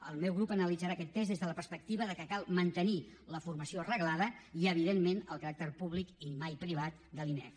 el meu grup analitzarà aquest text des de la perspectiva que cal mantenir la formació reglada i evidentment el caràcter públic i mai privat de l’inef